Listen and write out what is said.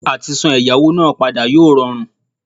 Àtisan ẹ̀yáwó náà padà yóò rọrùn